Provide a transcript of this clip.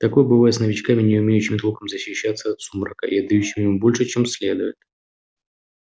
такое бывает с новичками не умеющими толком защищаться от сумрака и отдающими ему больше чем следует